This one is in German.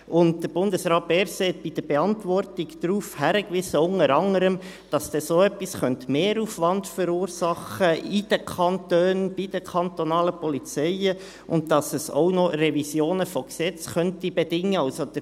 Und Bundesrat Berset wies in der Beantwortung unter anderem darauf hin, dass so etwas Mehraufwand in den Kantonen und bei den kantonalen Polizeien verursachen könnte und dass es auch Revisionen von Gesetzen bedingen könnte.